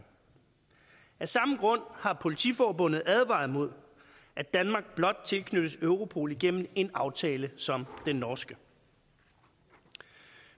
af samme grund har politiforbundet advaret imod at danmark blot tilknyttes europol igennem en aftale som den norske